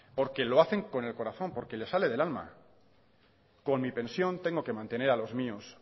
porque lo hacen con el corazón porque les sale del alma con mi pensión tengo que mantener a los míos